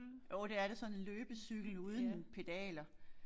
Jo det er da sådan en løbecykel uden pedaler